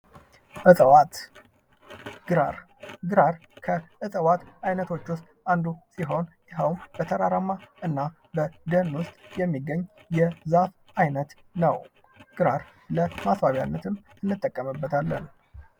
ግራር ከእጽዋት አይነቶች ዉስጥ አንዱ ሲሆን በተራራ እና በደን ዉስጥ የሚገኝየዛፍ አይነት ነው፡፡ ገራር ለማስዋቢያነትም እንጠቀምበታለን፡፡